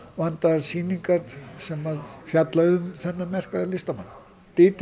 vandaðar sýningar sem fjalla um þennan merka listamann